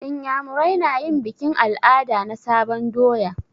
Inyamurai na yin bikin al'ada na sabon doya.